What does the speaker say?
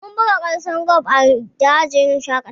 Mun buga wasan golf jiya a dajin shaƙatawa